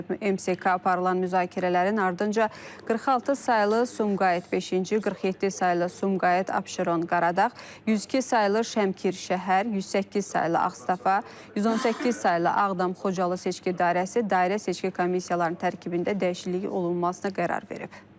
MSK aparılan müzakirələrin ardınca 46 saylı Sumqayıt beşinci, 47 saylı Sumqayıt Abşeron, Qaradağ, 102 saylı Şəmkir şəhər, 108 saylı Ağstafa, 118 saylı Ağdam, Xocalı seçki dairəsi, dairə seçki komissiyalarının tərkibində dəyişiklik olunmasına qərar verib.